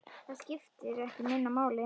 Það skiptir ekki minna máli.